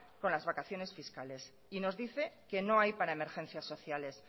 con las vacaciones fiscales y nos dice que no hay para emergencias sociales